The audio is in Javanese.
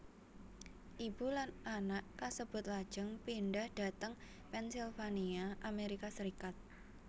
Ibu lan anak kasebut lajeng pindhah dhateng Pennsylvania Amerika Serikat